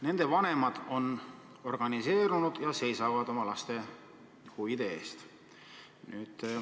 Nende vanemad on organiseerunud ja seisavad oma laste huvide eest.